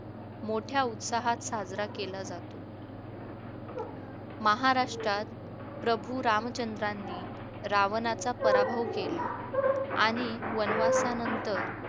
मोठ्या उत्साहात साजरा केला जातो महाराष्ट्रात प्रभू रामचंद्रांनी रावणाचा पराभव केला आणि वनवासानंतर